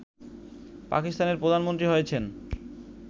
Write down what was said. পাকিস্তানের প্রধানমন্ত্রী হয়েছেন